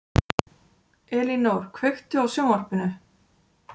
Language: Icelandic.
Elínór, kveiktu á sjónvarpinu.